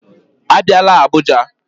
Abịala Abuja